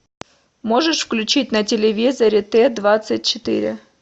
можешь включить на телевизоре т двадцать четыре